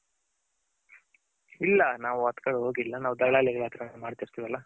ಇಲ್ಲ ನಾವು ಅತ್ಕಡೆ ಹೋಗಿಲ್ಲ ನಾವು ದಲ್ಲಾಳಿ ಗಳ್ ಹತ್ರನೆ ಮಾಡ್ತಿರಿರಲ್ಲ.